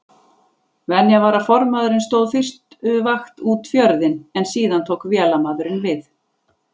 Venja var að formaðurinn stóð fyrstu vakt út fjörðinn en síðan tók vélamaðurinn við.